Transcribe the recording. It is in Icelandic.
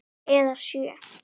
Eða sjö.